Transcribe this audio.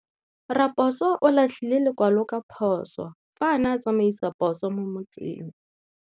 Raposo o latlhie lekwalô ka phosô fa a ne a tsamaisa poso mo motseng.